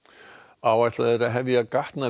áætlað er að hefja